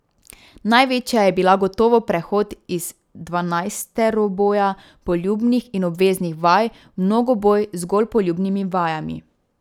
Največja je bila gotovo prehod iz dvanajsteroboja poljubnih in obveznih vaj v mnogoboj z zgolj poljubnimi vajami.